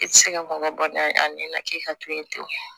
E ti se ka bana dɔ dɔn a ɲɛna k'i ka to yen ten